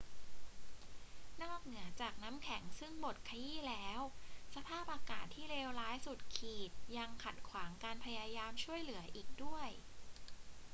นอกเหนือจากน้ำแข็งซึ่งบดขยี้แล้ว สภาพอากาศที่เลวร้ายสุดขีดยังขัดขวางการพยายามช่วยเหลืออีกด้วย